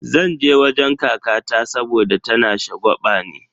Zan je wajen kakata saboda tana shagwabani.